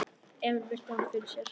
Emil virti hann fyrir sér.